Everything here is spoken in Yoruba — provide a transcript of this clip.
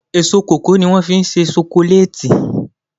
Èso kòkó ní wọ́n fí ń se sokoléètì